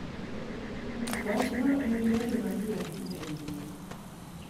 Wachno ne olandore mapiyo ahinya e mbui.